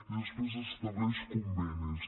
i després estableix convenis